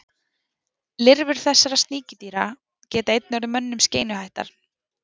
lirfur þessara sníkjudýra geta einnig orðið mönnum skeinuhættar